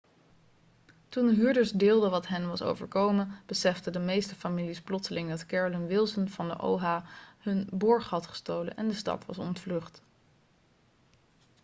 toen de huurders deelden wat hen was overkomen beseften de meeste families plotseling dat carolyn wilson van de oha hun borg had gestolen en de stad was ontvlucht